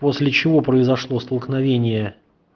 после чего произошло столкновение